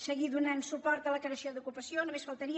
seguir donant suport a la creació d’ocupació només faltaria